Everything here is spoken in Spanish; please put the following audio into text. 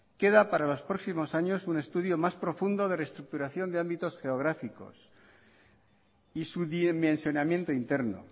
queda para los próximos años un estudio más profundo de reestructuración de ámbitos geográficos y su dimensionamiento interno